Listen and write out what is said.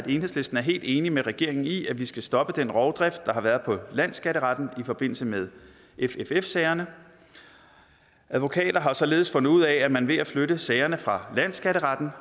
enhedslisten er helt enig med regeringen i at vi skal stoppe den rovdrift der har været på landsskatteretten i forbindelse med fff sagerne advokater har således fundet ud af at man ved at flytte sagerne fra landsskatteretten